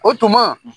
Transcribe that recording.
O tuma